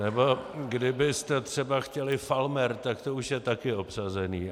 Nebo kdybyste třeba chtěli Falmer, tak to už je taky obsazené.